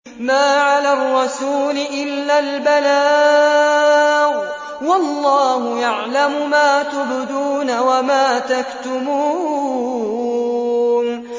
مَّا عَلَى الرَّسُولِ إِلَّا الْبَلَاغُ ۗ وَاللَّهُ يَعْلَمُ مَا تُبْدُونَ وَمَا تَكْتُمُونَ